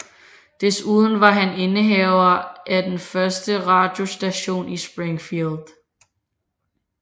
Desuden var han indehaver af den første radiostation i Springfield